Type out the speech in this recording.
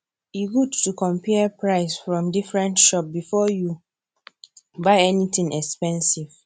e good to compare price from different shop before you buy anything expensive